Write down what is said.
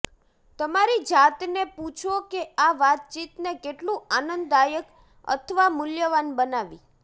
તમારી જાતને પૂછો કે આ વાતચીતને કેટલું આનંદદાયક અથવા મૂલ્યવાન બનાવી